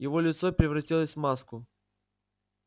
его лицо превратилось в маску